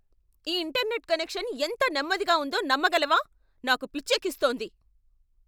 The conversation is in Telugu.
ఈ ఇంటర్నెట్ కనెక్షన్ ఎంత నెమ్మదిగా ఉందో నమ్మగలవా? నాకు పిచ్చెక్కిస్తోంది!